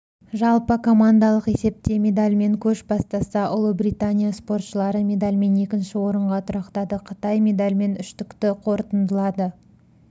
жалпы командалық есепте медальмен көш бастаса ұлыбритания спортшылары медальмен екінші орынға тұрақтады қытай медальмен үштікті қорытындылады